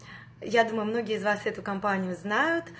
я думаю многие из вас в эту компанию знают